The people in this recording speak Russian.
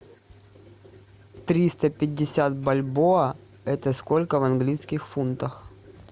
триста пятьдесят бальбоа это сколько в английских фунтах